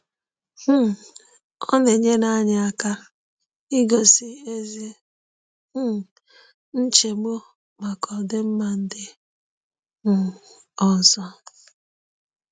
um Ọ na-enyere anyị aka igosi ezi um nchegbu maka ọdịmma ndị um ọzọ.